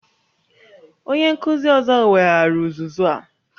Onye nkuzi ọzọ weghaara uzuzu a